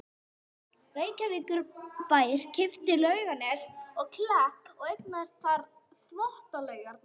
Reykjavíkurbær keypti Laugarnes og Klepp og eignaðist þar með Þvottalaugarnar.